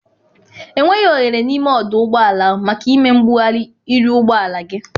Enweghị oghere n'ime ọdụ ụgbọala ahụ maka ịme mgbugharị iru ụgbọala gị.